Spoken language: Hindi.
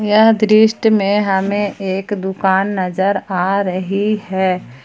यह दृश्य में हमें एक दुकान नजर आ रही है।